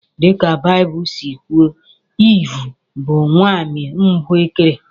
Dị ka Baịbụl si kwuo, Eve bụ nwanyị mbụ e kere.